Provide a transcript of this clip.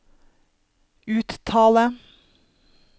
uttale